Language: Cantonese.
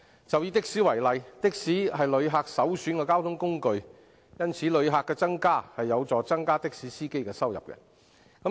就以的士為例，它是旅客首選的交通工具，因此旅客增加便有助增加的士司機的收入。